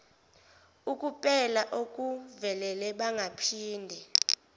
ukupela okuvelele bangaphinde